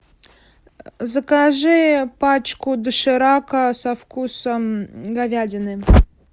закажи пачку доширака со вкусом говядины